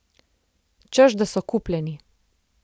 Češ da so kupljeni.